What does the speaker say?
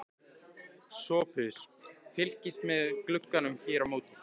SOPHUS: Fylgist með glugganum hér á móti.